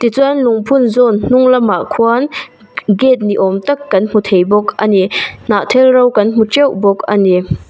tichuan lungphun zawn hnung lamah khuan gate ni awm tak kan hmu thei bawk a ni hnahthel ro kan hmu teuh bawk a ni.